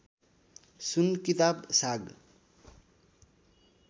सुन किताब साग